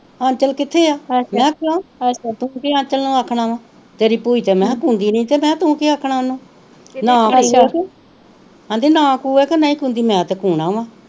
ਆਂਚਲ ਕਿਥੇ ਆ ਮਹਾ ਕਿਉ ਤੂੰ ਕਿ ਆਂਚਲ ਨੂੰ ਆਖਣਾ ਵਾ ਤੇਰੀ ਪੂਈਂ ਤੇ ਮੇਹਾ ਸੁਣਦੀ ਨੀ ਤੇ ਮੇਹਾ ਤੂੰ ਕਿ ਆਖਣਾ ਉਹਨੂੰ